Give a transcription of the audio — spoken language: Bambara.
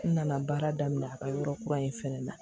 N nana baara daminɛ a ka yɔrɔ kura in fana na